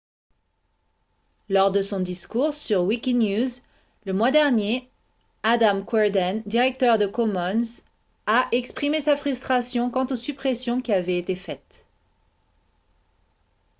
lors de son discours sur wikinews le mois dernier adam cuerden directeur de commons a exprimé sa frustration quant aux suppressions qui avaient été faites